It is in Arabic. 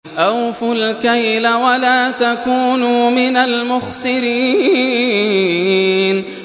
۞ أَوْفُوا الْكَيْلَ وَلَا تَكُونُوا مِنَ الْمُخْسِرِينَ